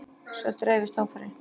Svo dreifist hópurinn.